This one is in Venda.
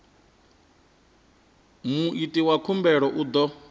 muiti wa khumbelo u ḓo